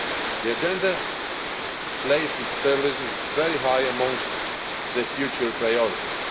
The agenda places terrorism very high among the future priorities.